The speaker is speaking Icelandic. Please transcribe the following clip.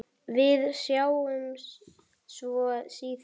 Við sjáumst svo síðar.